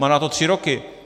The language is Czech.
Má na to tři roky.